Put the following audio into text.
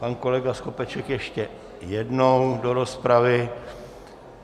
Pan kolega Skopeček ještě jednou do rozpravy.